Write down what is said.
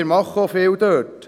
Wir machen auch viel dort.